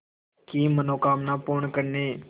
की मनोकामना पूर्ण करने